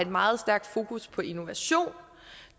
meget stærkt fokus på innovation